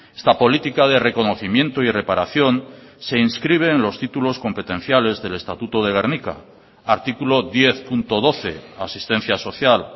esta política de reconocimiento y reparación se inscribe en los títulos competenciales del estatuto de gernika artículo diez punto doce asistencia social